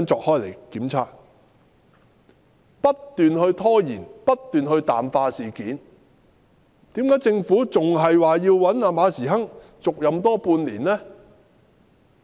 港鐵公司不斷拖延、不斷淡化事件，為何政府仍然要馬時亨續任半年呢？